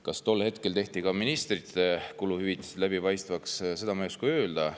Kas tol hetkel tehti ka ministrite läbipaistvaks, seda ma ei oska öelda.